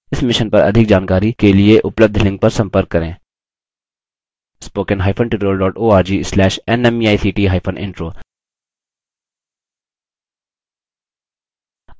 इस mission पर अधिक जानकारी के लिए उपलब्ध लिंक पर संपर्क करें spoken hyphen tutorial dot org slash nmeict hyphen intro